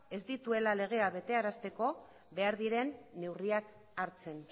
ez dituela legeak betearazteko behar diren neurriak hartzen